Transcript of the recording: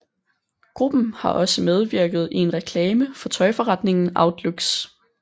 Gruppen har også medvirket i en reklame for tøjforretningen Outlooks